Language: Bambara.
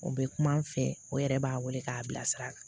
O bɛ kuma n fɛ o yɛrɛ b'a wele k'a bilasira